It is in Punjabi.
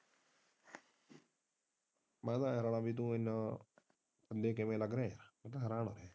ਮੈਂ ਤੇ ਇਹ ਰੌਲ਼ਾ ਕਿ ਤੋਂ ਇਹਨਾਂ ਥੱਲੇ ਕਿਵੇਂ ਲੱਗ ਰਹਿਆ ਹੈ ਮੈਂ ਤੇ ਹੈਰਾਨ ਹਾਂ।